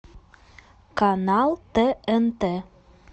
канал тнт